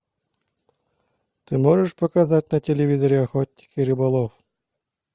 ты можешь показать на телевизоре охотник и рыболов